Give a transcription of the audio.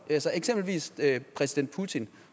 eksempelvis præsident putin